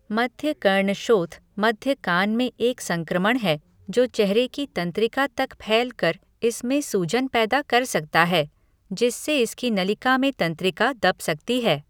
मध्यकर्णशोथ मध्य कान में एक संक्रमण है, जो चेहरे की तंत्रिका तक फैल कर इसमें सूजन पैदा कर सकता है, जिससे इसकी नलिका में तंत्रिका दब सकती है।